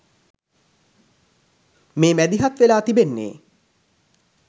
මේ මැදිහත් වෙලා තිබෙන්නේ.